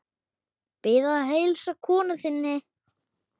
Bið að heilsa konu þinni!